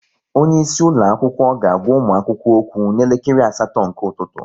Onye isi ụlọ akwụkwọ ga-agwa ụmụ akwụkwọ okwu n'elekere asatọ nke ụtụtụ